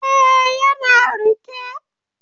Ee, yana riƙe.